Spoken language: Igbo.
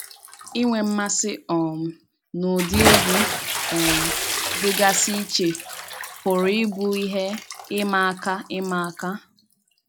Ị́nwe mmasị um n’ụdị̀ egwú um dị́gasị iche pụrụ ịbụ ihe ịma aka ịma aka